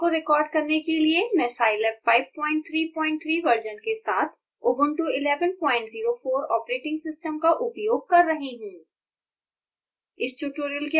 इस ट्यूटोरियल को रिकॉर्ड करने के लिए मैं scilab 533 वर्जन के साथ ऊबंटु 1104 ऑपरेटिंग सिस्टम का उपयोग कर रही हूँ